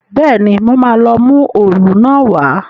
Bẹ́ẹ̀ni, mo máa lọ mú òòlù náà wá